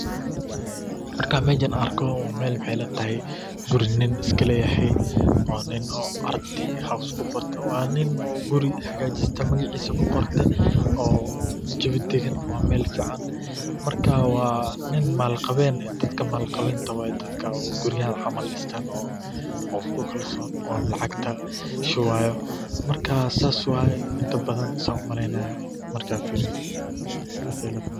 Marka meshan arkoh waxa ilatahay kuuri nin ilatahay wa nin oo kuuri hagajistoh oo magaceesa qortay oo jawi dagan wa meelbfican marka wa nin malaqaveeyn dadka malbqabenka dadka guuriyaha caml distaan , oo iskukalson lacagta marka sas waye intabdan sas Aya u malaynaya marka fiiriyoh sass ilatahay.